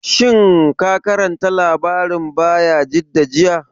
Shin ka karanta labarin Bayajidda jiya?